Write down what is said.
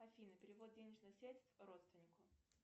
афина перевод денежных средств родственнику